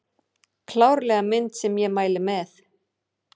Klárlega mynd sem ég mæli með